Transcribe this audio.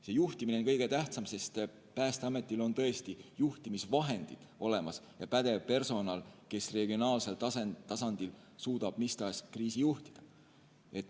See juhtimine on kõige tähtsam, sest Päästeametil on tõesti juhtimisvahendid olemas ja pädev personal, kes regionaalsel tasandil suudab mis tahes kriisi juhtida.